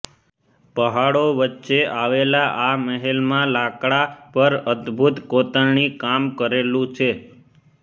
પહાડો વચ્ચે આવેલા આ મહેલમાં લાકડા પર અદભુત કોતરણી કામ કરેલું છે